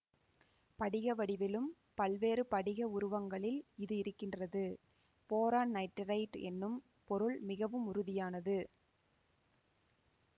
படிக வடிவிலும் பல்வேறு படிக உருவங்களில் இது இருக்கின்றது போரான் நைட்டிரைடு என்னும் பொருள் மிகவும் உறுதியானது